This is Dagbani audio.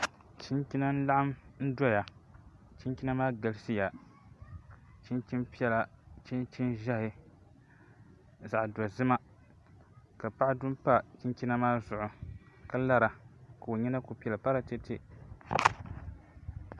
Chinchina n laɣam n doya chinchina maa galisiya chinchini piɛla chunchin ʒiɛhi zaɣ dozima ka paɣa du n pa chinchina maa zuɣu ka lara ka o nyina ku piɛli paratɛtɛ